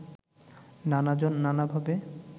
নানাজন নানাভাবে